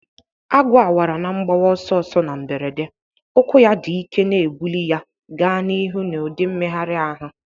Agu awara na mgbawa ọsọ ọsọ na mberede, ụkwụ ya dị ike na-ebuli ya gaa n'ihu n'ụdị mmegharị ahụ.